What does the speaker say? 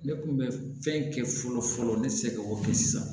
Ne kun bɛ fɛn kɛ fɔlɔ fɔlɔ ne tɛ se k'o kɛ sisan